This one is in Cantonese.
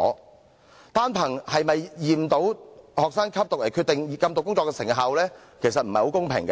平心而論，單憑是否驗到學生吸毒來決定禁毒工作的成效其實不太公平，